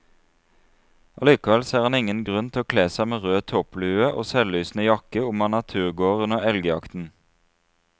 Allikevel ser han ingen grunn til å kle seg med rød topplue og selvlysende jakke om man er turgåer under elgjakten.